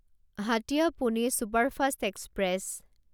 Hatiya Pune superfast express